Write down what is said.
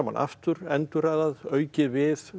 aftur endurraðað aukið við